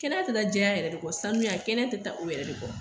Kɛnɛya tɛ taa jɛya yɛrɛ de kɔ sanuya kɛnɛya tɛ taa o yɛrɛ de kɔ